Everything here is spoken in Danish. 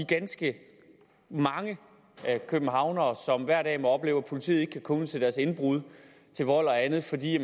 ganske mange københavnere som hver dag må opleve at politiet ikke kan komme ud til deres indbrud til vold og andet fordi